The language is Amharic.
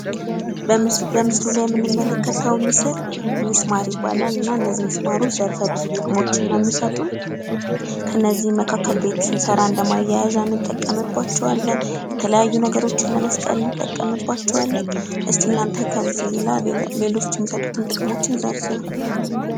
በምስሉ ላይ የምንመለከተው ምስል ሚስማር ይባላል። እና እነዚህን ምስማሮች ዘርፈ ብዙ ጥቅሞችና ሚሰጡን። ከነዚህ መካከል ቤት ስንሰራ እንደማያያዣ እንጠቀምባቸዋለን። የተለያዩ ነገሮችን ለመስቀል እንጠቀምባቸዋለን። እስቲ እናንተ ከዚህ ሌሎች የሚሰጡትን ጥቅሞች ዘርዝሩ?